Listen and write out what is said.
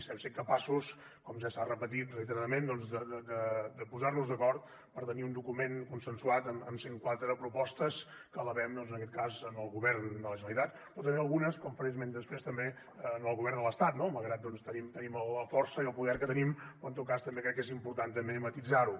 hem set capaços com ja s’ha repetit reiteradament de posar nos d’acord per tenir un document consensuat amb cent quatre propostes que elevem en aquest cas al govern de la generalitat però també algunes com en faré esment després al govern de l’estat no malgrat que tenim la força i el poder que tenim però en tot cas crec que és important també matisar ho